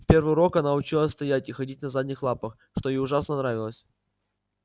в первый урок она училась стоять и ходить на задних лапах что ей ужасно нравилось